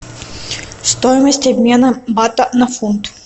стоимость обмена бата на фунт